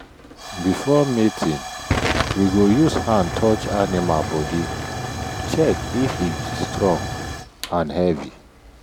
before mating we go use hand touch animal body check if e strong and heavy.